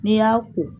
N'i y'a ko